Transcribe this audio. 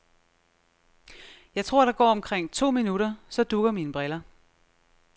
Jeg tror, der går omkring to minutter, så dugger mine briller.